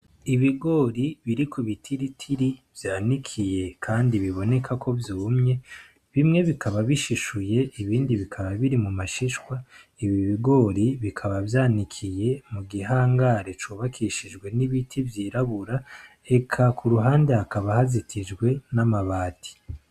Ibigori biri kubitiritiri vyanikiye kandi biboneka ko vyumye bimwe bikaba bishishuye ibindi bikaba biri mu mashishwa ibi bigori bikaba vyanikiye mu gihangare cubakishijwe n'ibiti vyirabura eka kuruhande hakaba hazitijwe n'amabati.